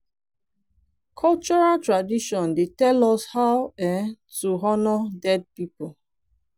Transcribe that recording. cultural tradition dey tell us how um to honor dead people